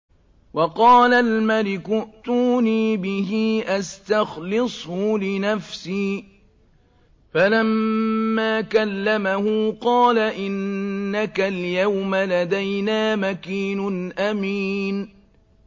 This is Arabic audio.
وَقَالَ الْمَلِكُ ائْتُونِي بِهِ أَسْتَخْلِصْهُ لِنَفْسِي ۖ فَلَمَّا كَلَّمَهُ قَالَ إِنَّكَ الْيَوْمَ لَدَيْنَا مَكِينٌ أَمِينٌ